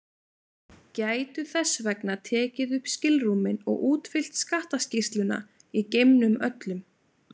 Gætu þess vegna tekið upp skilrúmin og útfyllt skattaskýrsluna í geimnum öllum.